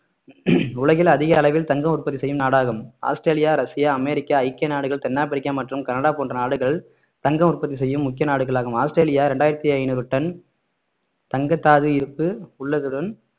உலகில் அதிக அளவில் தங்கம் உற்பத்தி செய்யும் நாடாகும் ஆஸ்திரேலியா ரஷ்யா அமெரிக்க ஐக்கிய நாடுகள் தென் ஆப்பிரிக்கா மற்றும் கனடா போன்ற நாடுகள் தங்கம் உற்பத்தி செய்யும் முக்கிய நாடுகளாகும் ஆஸ்திரேலியா இரண்டாயிரத்து ஐநூறு டன் தங்கத்தாது இருப்பு உள்ளதுடன்